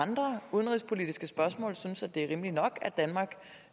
og sådan